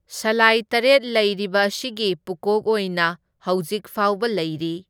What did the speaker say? ꯁꯂꯥꯏ ꯇꯔꯦꯠ ꯂꯩꯔꯤꯕ ꯑꯁꯤꯒꯤ ꯄꯨꯀꯣꯛ ꯑꯣꯏꯅ ꯍꯧꯖꯤꯛ ꯐꯥꯎꯕ ꯂꯩꯔꯤ꯫